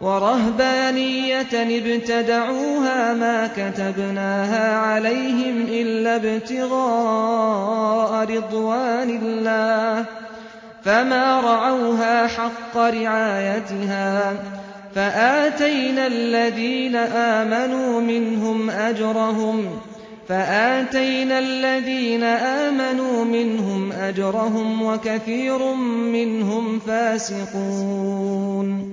وَرَهْبَانِيَّةً ابْتَدَعُوهَا مَا كَتَبْنَاهَا عَلَيْهِمْ إِلَّا ابْتِغَاءَ رِضْوَانِ اللَّهِ فَمَا رَعَوْهَا حَقَّ رِعَايَتِهَا ۖ فَآتَيْنَا الَّذِينَ آمَنُوا مِنْهُمْ أَجْرَهُمْ ۖ وَكَثِيرٌ مِّنْهُمْ فَاسِقُونَ